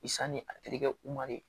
I sanni a terikɛ